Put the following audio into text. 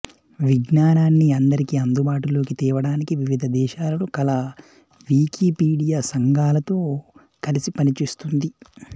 విజ్ఞానాన్ని అందరికి అందుబాటులోకి తేవటానికి వివిధ దేశాలలో కల వికీపీడియా సంఘాలతో కలసిపనిచేస్తుంది